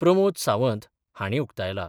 प्रमोद सावंत हांणी उकतायला.